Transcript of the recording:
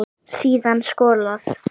Síðan skolað.